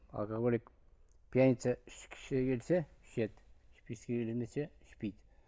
алкоголик пьяница ішкісі келсе ішеді ішпейді